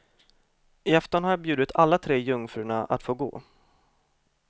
I afton har jag bjudit alla tre jungfrurna att få gå.